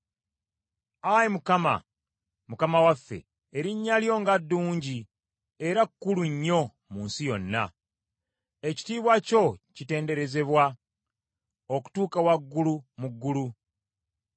Ayi Mukama , Mukama waffe, erinnya lyo nga ddungi era kkulu nnyo mu nsi yonna! Ekitiibwa kyo kitenderezebwa okutuuka waggulu mu ggulu.